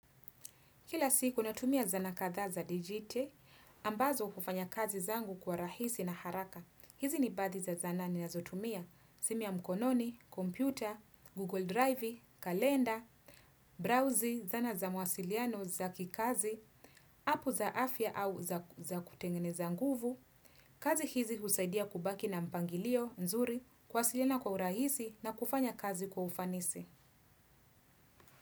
Kila siku, natumia zana katha za digiti, ambazo kufanya kazi zangu kwa rahisi na haraka. Hizi ni baadhi za zanaa ninazotumia, simu ya mkononi, kompyuta, google drivi, kalenda, brauzi, zana za mawasiliano za kikazi, apu za afya au za kutengeneza nguvu. Kazi hizi usaidia kubaki na mpangilio, nzuri, kwasiliana kwa urahisi na kufanya kazi kwa ufanisi.